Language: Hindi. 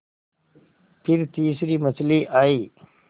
फिर तीसरी मछली आई